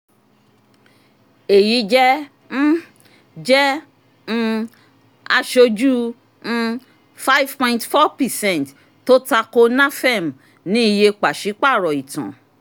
èyí jẹ́ um jẹ́ um aṣojú um five point four percent tó tako nafem ní iye pàṣípàrọ̀ ìtàn.